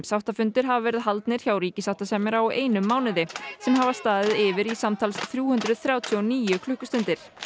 sáttafundir hafa verið haldnir hjá sáttasemjara á einum mánuði sem hafa staðið yfir í samtals í þrjú hundruð þrjátíu og níu klukkustundir